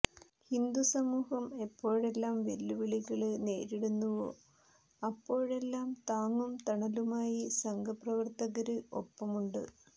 ഹിന്ദുസമൂഹം എപ്പോഴെല്ലാം വെല്ലുവിളികള് നേരിടുന്നുവോ അപ്പോഴെല്ലാം താങ്ങും തണലുമായി സംഘപ്രവര്ത്തകര് ഒപ്പമുണ്ട്